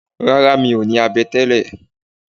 Rárá mi ò ní abẹ tẹ́lẹ̀